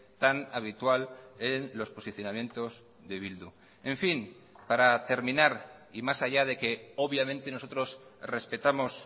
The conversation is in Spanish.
tan habitual en los posicionamientos de bildu en fin para terminar y más allá de que obviamente nosotros respetamos